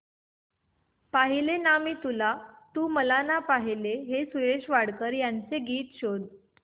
पाहिले ना मी तुला तू मला ना पाहिले हे सुरेश वाडकर यांचे गीत शोध